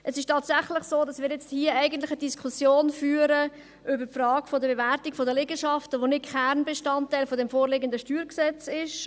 Es ist tatsächlich so, dass wir hier eigentlich eine Diskussion über die Frage der Bewertung der Liegenschaften führen, welche nicht Kernbestandteil des vorliegenden StG ist.